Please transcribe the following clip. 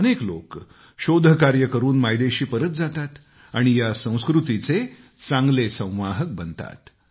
अनेक लोक शोधकार्य करून मायदेशी परत जातात आणि या संस्कृतीचे चांगले संवाहक बनतात